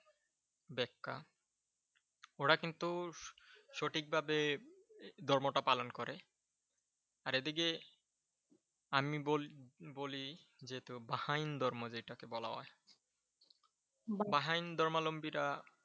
ওরা কিন্তু সঠিকভাবে ধর্মটা পালন করে। আর এই দিকে আমি বলি বাহাইন ধর্ম যেটাকে বলা হয়। বাহাইন ধর্মালম্বীরা